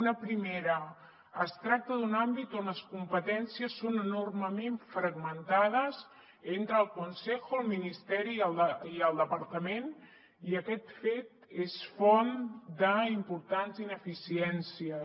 una primera es tracta d’un àmbit on les competències són enormement fragmentades entre el consejo el ministeri i el departament i aquest fet és font d’importants ineficiències